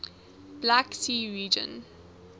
black sea region